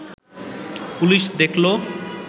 police দেখল